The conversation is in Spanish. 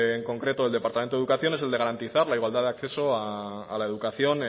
en concreto del departamento de educación es el de garantizar la igualdad de acceso a la educación